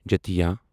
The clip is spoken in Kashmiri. جتِیا